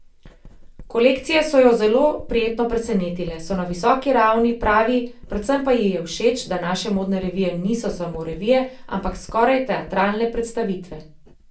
Kolekcije so jo zelo prijetno presenetile, so na visoki ravni, pravi, predvsem pa ji je všeč, da naše modne revije niso samo revije, ampak skoraj teatralne predstavitve.